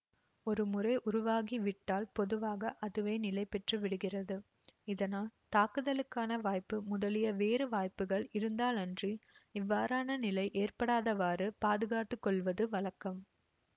ஒரு முறை உருவாகிவிட்டால் பொதுவாக அதுவே நிலைபெற்று விடுகிறது இதனால் தாக்குதலுக்கான வாய்ப்பு முதலிய வேறு வாய்ப்புக்கள் இருந்தாலன்றி இவ்வாறான நிலை ஏற்படாதவாறு பாதுகாத்துக்கொள்வது வழக்கம்